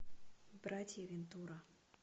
братья вентура